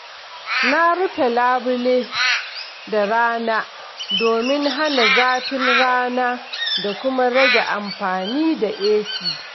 Na rufe labule da rana domin hana zafin rana da kuma rage amfani da AC.